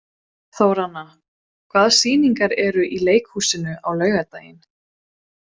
Þóranna, hvaða sýningar eru í leikhúsinu á laugardaginn?